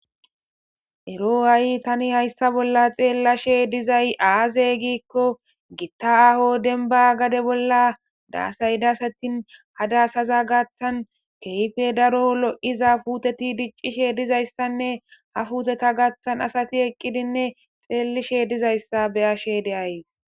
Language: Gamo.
Erro hayi ta hayssani xelashe dizayi aze gikko gitta ahho demibba gadde bolla gatha kehi loyiza puteti dizayisane ha puteta gathani asseyi eqid dizaysa beyashe deyayisi.